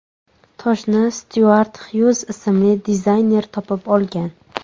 Toshni Styuart Xyuz ismli dizayner topib olgan.